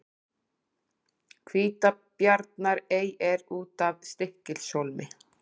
Hvítabjarnarey er út af Stykkishólmi.